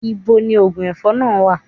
Níbo ni oògùn ẹ̀fọn náà wà?